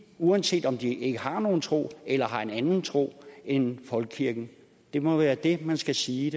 uanset om de ikke har nogen tro eller har en anden tro end folkekirkens det må være det man skal sige